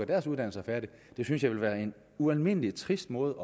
deres uddannelse færdig jeg synes det vil være en ualmindelig trist måde